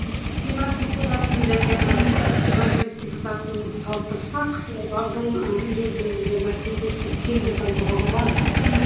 сенат депутатының және маслихат мәжіліс депутатын салыстырсақ олардың негізгі мәртебесі тең деп айтуға болады